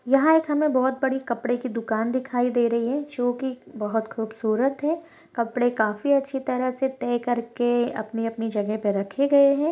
यहाँ हमे एक बहुत बड़ी कपड़े की दुकान दिखाई दे रही है जो की बहुत खूबसूरत है कपड़े काफी अच्छे तरह से तय करके अपने अपने जगह पर रखे गये है।